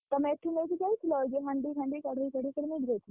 ତମେ ଏଠୁ ନେଇକି ଯାଇଥିଲ? ଯୋଉ ହାଣ୍ଡି ଫାଣ୍ଡି କଡେଇ ଫଡେଇ ସବୁ ନେଇକି ଯାଇଥିଲ।